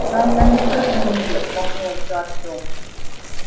да я не про книги отмахнулся артём